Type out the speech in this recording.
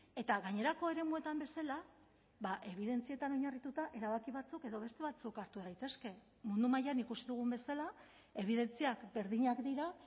eta gainerako eremuetan bezala ebidentzietan oinarrituta erabaki batzuk edo beste batzuk hartu daitezke mundu mailan ikusi dugun bezala ebidentziak berdinak dira